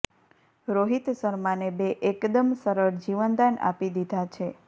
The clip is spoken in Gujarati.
રોહિત શર્માને બે એકદમ સરળ જીવનદાન આપી દીધા છે